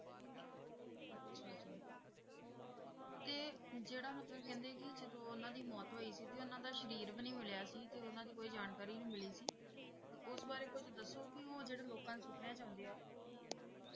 ਤੇ ਜਿਹੜਾ ਮਤਲਬ ਕਹਿੰਦੇ ਕਿ ਜਦੋਂ ਉਹਨਾਂ ਦੀ ਮੌਤ ਹੋਈ ਸੀ ਤੇ ਉਹਨਾਂ ਦਾ ਸਰੀਰ ਵੀ ਨੀ ਮਿਲਿਆ ਸੀ, ਤੇ ਉਹਨਾਂ ਦੀ ਕੋਈ ਜਾਣਕਾਰੀ ਨੀ ਮਿਲੀ ਸੀ ਤੇ ਉਸ ਬਾਰੇ ਕੁੱਝ ਦੱਸੋ ਕਿ ਉਹ ਜਿਹੜੇ ਲੋਕਾਂ ਦੇ ਸੁਪਨਿਆਂ 'ਚ ਆਉਂਦੇ ਹੈ, ਕੀ